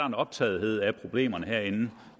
en optagethed af problemerne herinde